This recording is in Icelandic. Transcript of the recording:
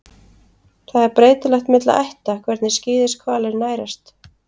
Það er breytilegt milli ætta hvernig skíðishvalir nærast.